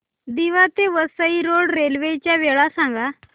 दिवा ते Vasai road railway च्या वेळा सांगा